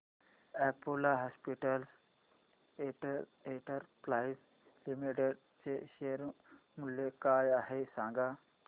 Apollo hospitals enterprise limited चे share मूल्य काय आहे सांगा